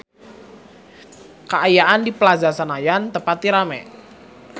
Kaayaan di Plaza Senayan teu pati rame